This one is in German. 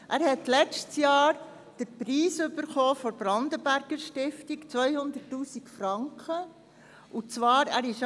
Dieser hat letztes Jahr den Preis der Brandenberger-Stiftung im Umfang von 200 000 Franken erhalten.